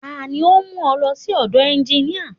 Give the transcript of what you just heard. Tani ó ń mú ọ lọ sí ọ̀dọ̀ ẹnginíà?